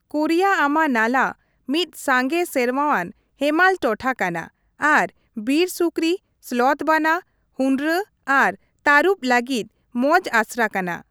ᱠᱚᱨᱤᱭᱟ ᱟᱢᱟ ᱱᱟᱞᱟ ᱢᱤᱫ ᱥᱟᱸᱜᱮ ᱥᱮᱨᱢᱟᱣᱟᱱ ᱦᱮᱢᱟᱞ ᱴᱚᱴᱷᱟ ᱠᱟᱱᱟ ᱟᱨ ᱵᱤᱨ ᱥᱩᱠᱨᱤ, ᱥᱞᱚᱛᱷ ᱵᱟᱱᱟ, ᱦᱩᱸᱰᱨᱟᱹ, ᱟᱨ ᱛᱟᱹᱨᱩᱵ ᱞᱟᱹᱜᱤᱫ ᱢᱚᱸᱡᱽ ᱟᱥᱨᱟ ᱠᱟᱱᱟ ᱾